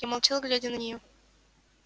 я молчал глядя на неё